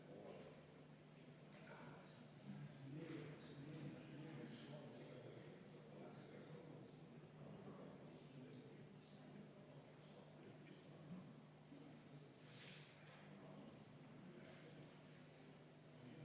Loomulikult, järelevalvet tuleb teostada, sest me teame ju väga hästi, milline olukord meil ehitussektoris valitseb ja kui palju on meil seal mustalt töötavaid inimesi.